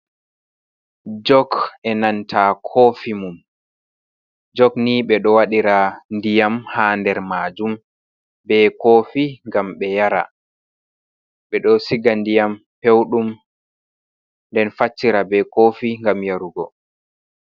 Jok e'nanta kofi mum jok ni ɓe ɗo wadira ndiyam ha nder majum be kofi ngam ɓe yara ɓe ɗo siga ndiyam pewɗum nden fassira be kofi ngam yarugo.